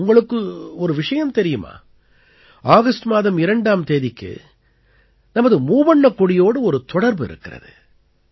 உங்களுக்கு ஒரு விஷயம் தெரியுமா ஆகஸ்ட் மாதம் 2ஆம் தேதிக்கு நமது மூவண்ணக் கொடியோடு ஒரு தொடர்பு இருக்கிறது